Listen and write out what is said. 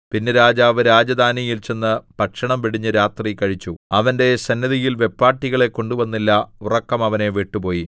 പിന്നെ രാജാവ് രാജധാനിയിൽ ചെന്ന് ഭക്ഷണം വെടിഞ്ഞ് രാത്രി കഴിച്ചു അവന്റെ സന്നിധിയിൽ വെപ്പാട്ടികളെ കൊണ്ടുവന്നില്ല ഉറക്കം അവനെ വിട്ടുപോയി